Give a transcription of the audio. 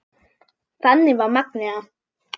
Þannig var Magnea.